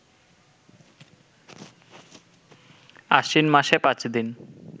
আশ্বিন মাসে পাঁচদিন